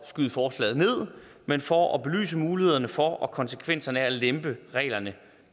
skyde forslaget ned men for at belyse mulighederne for og konsekvenserne af at lempe reglerne